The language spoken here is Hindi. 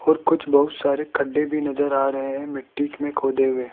और कुछ बहुत सारे गड्ढे भी नजर आ रहे हैं मिट्टी में खोदे हुए।